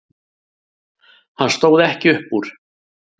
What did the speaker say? Hann stóð ekki upp úr.